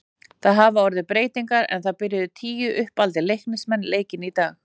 Það hafa orðið breytingar en það byrjuðu tíu uppaldir Leiknismenn leikinn í dag.